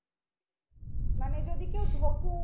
মানে যদি কেউ ঢোকে